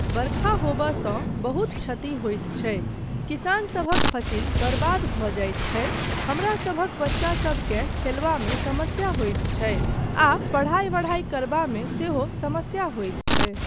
बरखा होमयसँ बहुत क्षति होइत छै किसानसभक फसिल बर्बाद भऽ जाइत छै हमरासभक बच्चासबकेँ खेलबामे समस्या होइत छै आ पढाइ वढाइ करबामे सेहो समस्या होइत छै।